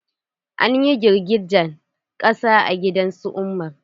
An yi girgijen ƙasa a gidan su umar.